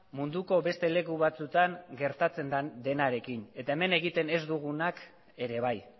munduko beste leku batzuetan gertatzen denarekin eta hemen egiten ez dugunak ere bai